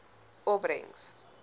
opbrengs